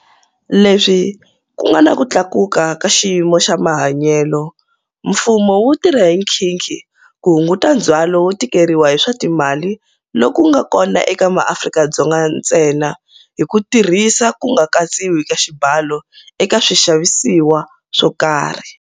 Leswi ku nga na ku tlakuka ka xiyimo xa mahanyelo, mfumo wu tirha hi khinkhi ku hunguta ndzhwalo wo tikeriwa hi swa timali loku nga kona eka MaAfrika-Dzonga ntsena hi ku tirhisa ku nga katsiwi ka xibalo eka swixavisiwa swo karhi.